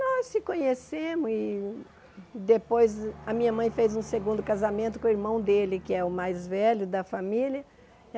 Nós se conhecemos e depois a minha mãe fez um segundo casamento com o irmão dele, que é o mais velho da família.